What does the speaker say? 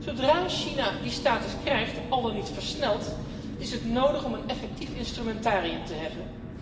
Zodra China die status krijgt, al dan niet versneld, is het nodig om een effectief instrumentarium te hebben.